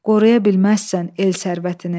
Qoruya bilməzsən el sərvətini.